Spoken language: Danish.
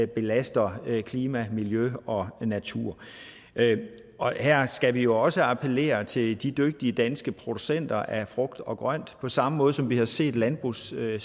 belaster klima miljø og natur her skal vi jo også appellere til de dygtige danske producenter af frugt og grønt på samme måde som vi har set landbrugssektoren